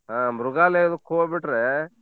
ಹಾ ಮೃಗಾಲಯದ್ಕ್ ಹೋಬಿಟ್ರೇ.